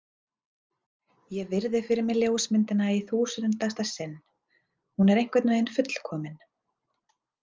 Ég virði fyrir mér ljósmyndina í þúsundasta sinn, hún er einhvern veginn fullkomin.